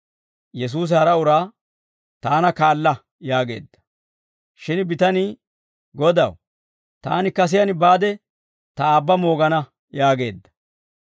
Yesuusi hara uraa, «Taana kaala» yaageedda. Shin, bitanii, «Godaw, taani kasiyaan baade ta aabba moogana» yaageedda.